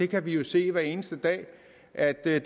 kan jo se hver eneste dag at det er